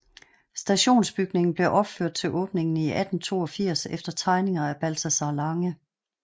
Stationsbygningen blev opført til åbningen i 1882 efter tegninger af Balthazar Lange